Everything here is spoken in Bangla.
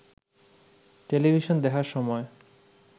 টেলিভিশন দেখার সময়